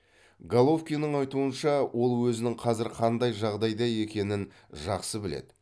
головкинің айтуынша ол өзінің қазір қандай жағдайда екенін жақсы біледі